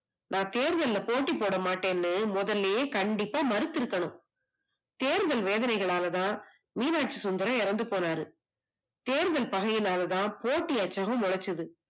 நான் தேர்தல்ல போட்டி போடா மாட்டேன்னு முதல்லயே கண்டிப்பா மறுத்து இருந்துருக்கணும், தேர்தல் வேதனைகளாலதான் மீனாச்சி சுந்தரம் இறந்து போனாரு, தேர்தல் பகைகல்கலாலதான் போட்டி மொலச்சது